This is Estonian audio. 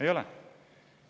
Ei ole!